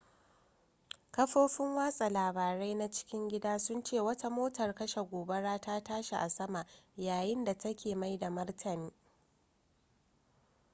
kafofin watsa labarai na cikin gida sun ce wata motar kashe gobara ta tashi a sama yayin da take mai da martani